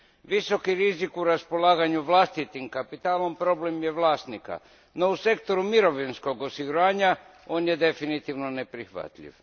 Visoki rizik u raspolaganju vlastitim kapitalom problem je vlasnika, no u sektoru mirovinskog osiguranja, on je definitivno neprihvatljiv.